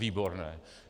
Výborné!